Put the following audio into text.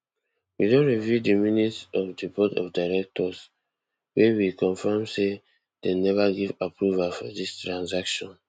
we don review di minutes of di board of directors wey we confam say dem neva give approval for dis transaction